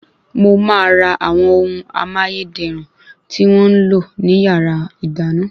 Mo ma ra àwọn ohun amáyéderùn tí wọ́n ńlò ní yàrá ìdáná